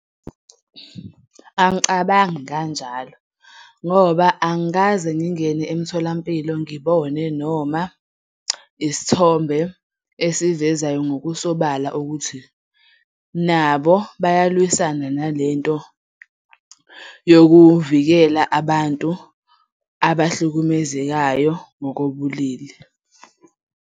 Angicabangi kanjalo, ngoba angikaze ngingene emtholampilo ngibone noma isithombe esivezayo ngokusobala ukuthi nabo bayalwisana nalento yokuvikela abantu abahlukumezekayo ngokobulili.